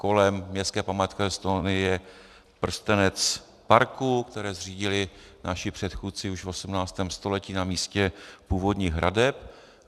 Kolem městské památkové zóny je prstenec parků, které zřídili naši předchůdci už v 18. století na místě původních hradeb.